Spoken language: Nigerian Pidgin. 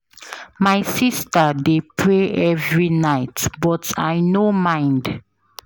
My sista dey pray every night but I no mind.